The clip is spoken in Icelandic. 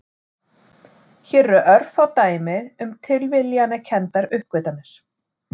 Hér eru örfá dæmi um tilviljanakenndar uppgötvanir.